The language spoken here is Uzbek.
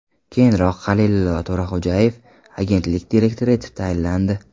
Keyinroq Halilillo To‘raxo‘jayev agentlik direktori etib tayinlandi .